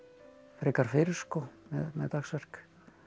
frekar fyrr með dagsverk